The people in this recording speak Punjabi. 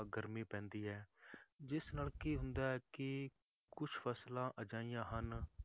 ਗਰਮੀ ਪੈਂਦੀ ਹੈ ਜਿਸ ਨਾਲ ਕੀ ਹੁੰਦਾ ਹੈ ਕਿ ਕੁਛ ਫਸਲਾਂ ਅਜਿਹੀਆਂ ਹਨ